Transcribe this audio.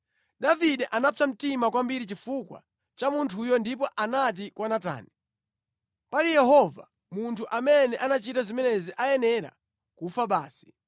Davide anapsa mtima kwambiri chifukwa cha munthuyo ndipo anati kwa Natani, “Pali Yehova, munthu amene anachita zimenezi ayenera kufa basi!